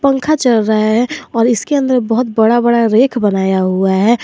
पंखा चल रहा है और इसके अंदर बहोत बड़ा बड़ा रैक बनाया हुआ है।